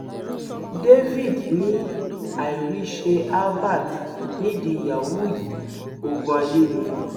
david ni àìríṣẹ albert nídìí yahoo yìí ogún ayé ni